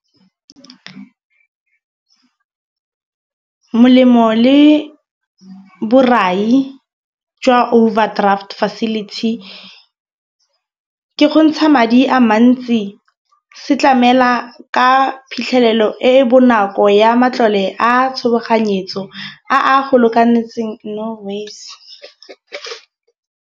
Molemo le borai jwa overdraft facility ke go ntsha madi a mantsi, se tlamela ka phitlhelelo e e bonako ya matlole a tshoganyetso a a go lokanetseng. No ways.